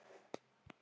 Átakið, já.